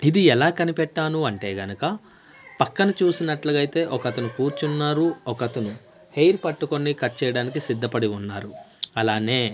ఇదే ఎలా కనిపెట్టాను అంటే గనక పక్కన చూసినట్లుగా అయితే ఒకతను కూర్చున్నారు ఒకతను హెయిర్ పట్టుకొని కట్ చేయడానికి సిద్ధపడి ఉన్నారు అలానే--